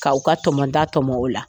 Ka u ka tɔmɔta tɔmɔ o la